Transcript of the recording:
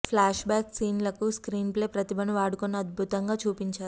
flash back scene లకు screenplay ప్రతిభను వాడుకుని అద్బుతంగా చూపించారు